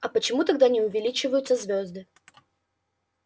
а почему тогда не увеличиваются звёзды